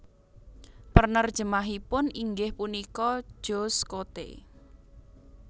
Penerjemahipun inggih punika Joost Coté